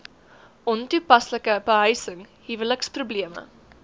ontoepaslike behuising huweliksprobleme